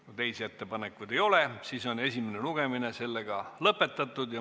Kui teisi ettepanekuid ei ole, siis on esimene lugemine lõpetatud.